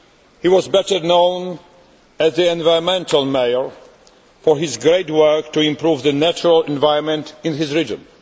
He was better known as the environmental mayor' for his great work to improve the natural environment in his region.